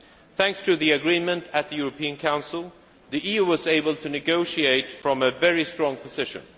Thanks to the agreement at the European Council, the EU was able to negotiate from a very strong position.